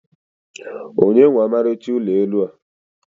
onye nwe ọmarịcha ụlọ elu a?